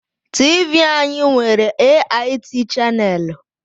TV anyị nwere AIT chaneelu.